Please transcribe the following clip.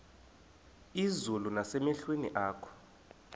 izulu nasemehlweni akho